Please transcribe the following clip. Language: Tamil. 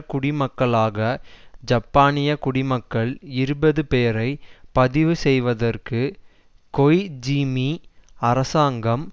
குடிமக்களாக ஜப்பானிய குடிமக்கள் இருபது பேரை பதிவு செய்வதற்கு கொய் ஜூமி அரசாங்கம்